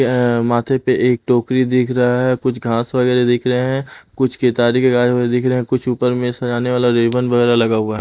अअ माथे पे एक टोकरी दिख रहा है कुछ घास वगैरह दिख रहे हैं कुछ केतारी के दिख रहे हैं कुछ ऊपर में सजाने वाला रिबन वगैरह लगा हुआ है।